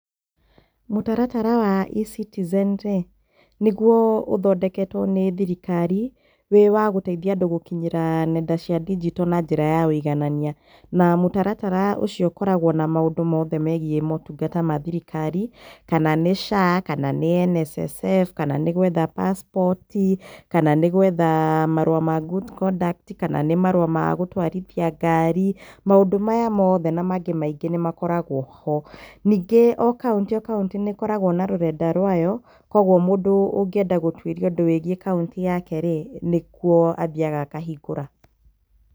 Mũtaratara wa eCitizen rĩ, nĩ guo ũthondeketwo nĩ thirikari wĩ wa gũteithia andũ gũkinyĩra nenda cia ndinjito na njĩra ya wũiganania. Na mũtaratara ũcio ũkoragwo na maũndũ mothe megiĩ maũtungata ma thirikari, kana nĩ SHA, kana nĩ NSSF kana nĩ gwetha pasipoti, kana nĩ gwetha marũa ma good conduct, kana nĩ marũa ma gũtwarithia ngari, maũndũ maya mothe na mangĩ maingĩ nĩ makoragwo ho. Ningĩ o kaũntĩ o kaũntĩ nĩ ĩkoragwo na rũrenda rwayo kwoguo mũndũ ũngĩenda gũtwĩria ũndũ ũgiĩ kaũntĩ yake rĩ, nĩ kuo athiaga akahingũra.